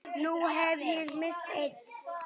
Nú hef ég misst einn.